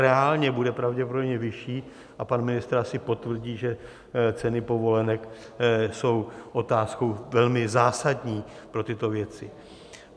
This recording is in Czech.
Reálně bude pravděpodobně vyšší a pan ministr asi potvrdí, že ceny povolenek jsou otázkou velmi zásadní pro tyto věci.